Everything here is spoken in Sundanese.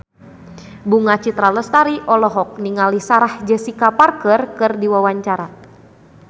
Bunga Citra Lestari olohok ningali Sarah Jessica Parker keur diwawancara